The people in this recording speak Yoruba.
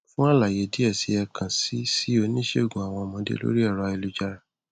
fún àlàyé díẹ si ẹ kàn sí sí oníṣègùn àwon ọmọdé lórí ẹrọ ayélujára